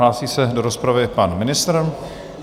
Hlásí se do rozpravy pan ministr.